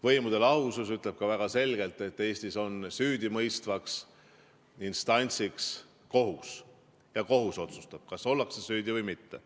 Võimude lahusus ütleb ka väga selgelt, et Eestis on süüdimõistvaks instantsiks kohus ja kohus otsustab, kas ollakse süüdi või mitte.